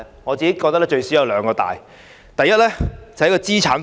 我認為最少有兩大：第一，是在資產方面。